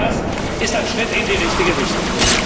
Auch das ist ein Schritt in die richtige Richtung.